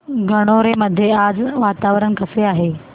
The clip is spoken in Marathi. गणोरे मध्ये आज वातावरण कसे आहे